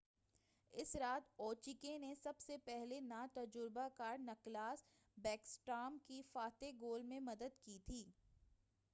اس رات اوچکیں نے سب سے پہلے نا تَجُربَہ کار نکلاس بیکسٹارم کے فاتح گول میں مدد کی تھی